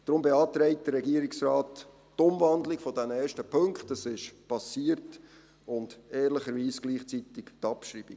Deshalb beantragt der Regierungsrat die Umwandlung dieser ersten Punkte – das ist geschehen – und ehrlicherweise gleichzeitig die Abschreibung.